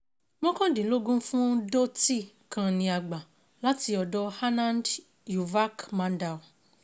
Mọ́kàndínlógún fún Dhoti kan ni a gbà láti ọ̀dọ̀ Anand Yuvak Mandal